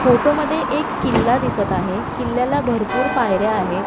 फोटोमध्ये एक किल्ला दिसत आहे किल्ल्याला भरपूर पायऱ्या आहेत.